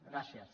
gràcies